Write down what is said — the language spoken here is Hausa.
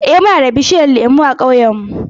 Eh, muna da bishiyun lemu a ƙauyen mu.